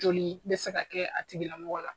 Joli bɛ se ka kɛ a tigilamɔgɔ la.